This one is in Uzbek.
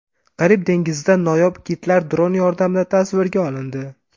Karib dengizida noyob kitlar dron yordamida tasvirga olindi .